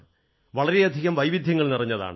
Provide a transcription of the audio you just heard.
വളരെയധികം വൈവിധ്യങ്ങൾ നിറഞ്ഞതാണ്